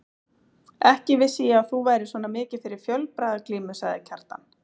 Leif er grundvallarhugtak í heimildafræði sagnfræðinga.